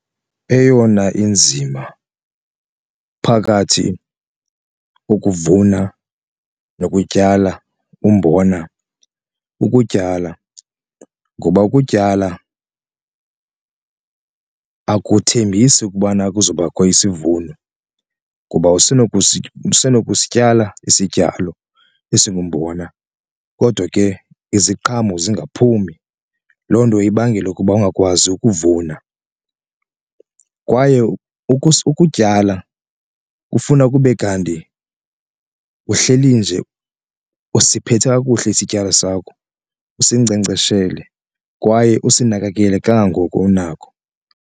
Eyona inzima phakathi ukuvuna nokutyala umbona ukutyala ngoba ukutyala akuthembisi ukubana kuzobakho isivuno kuba usenokusityala isityalo esingumbona kodwa ke iziqhamo zingaphumi, loo nto ibangele ukuba ungakwazi ukuvuna. Kwaye ukutyala kufuna kube kanti uhleli nje usiphethe kakuhle isityalo sakho usinkcenkceshele kwaye usinakekele kangangoko unako.